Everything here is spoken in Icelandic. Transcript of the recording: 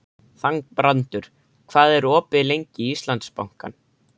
Þangbrandur, hvað er opið lengi í Íslandsbanka?